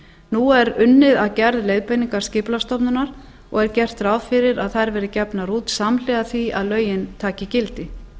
nú er unnið að gerð leiðbeininga skipulagsstofnunar og er gert ráð fyrir að þær verði gefnar út samhliða því að lögin taki gildi